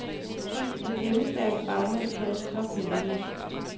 De pengestærke bagmænd holdes tophemmelige.